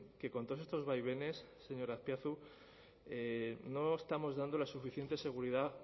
que con todos estos vaivenes señor azpiazu no estamos dando la suficiente seguridad